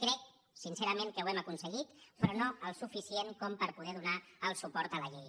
crec sincerament que ho hem aconseguit però no el suficient com per poder donar el suport a la llei